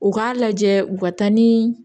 U k'a lajɛ u ka taa ni